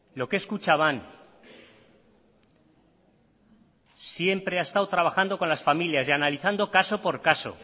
lo que es kutxabank siempre ha estado trabajando con las familias y analizando caso por caso